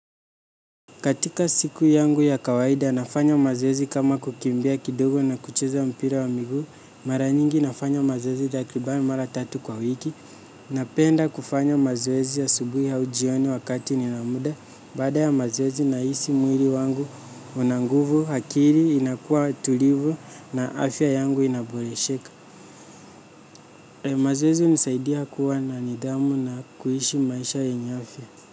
Katika siku yangu ya kawaida, nafanya mazoezi kama kukimbia kidogo na kucheza mpira wa miguu, mara nyingi nafanya mazoezi takriban mara tatu kwa wiki, napenda kufanya mazoezi asubuhi au jioni wakati nina muda. Baada ya mazoezi nahisi mwili wangu una nguvu, akili inakuwa tulivu na afya yangu inaboresheka. Mazoezi hunisaidia kuwa na nidhamu na kuishi maisha yenye afya.